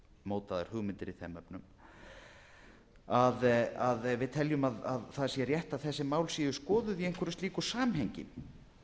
mótaðar hugmyndir í þeim efnum við teljum að það sé rétt að þessi mál séu skoðuð i einhverju slíku samhengi